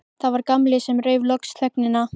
Það var Gamli sem rauf loks þögnina.